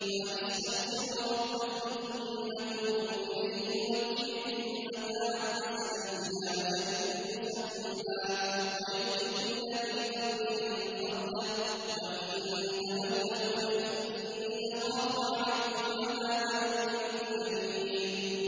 وَأَنِ اسْتَغْفِرُوا رَبَّكُمْ ثُمَّ تُوبُوا إِلَيْهِ يُمَتِّعْكُم مَّتَاعًا حَسَنًا إِلَىٰ أَجَلٍ مُّسَمًّى وَيُؤْتِ كُلَّ ذِي فَضْلٍ فَضْلَهُ ۖ وَإِن تَوَلَّوْا فَإِنِّي أَخَافُ عَلَيْكُمْ عَذَابَ يَوْمٍ كَبِيرٍ